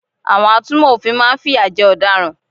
Àwọn atúnmò òfin máa n fìyà jẹ ọ̀daràn